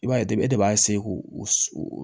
I b'a ye de b'a k'o o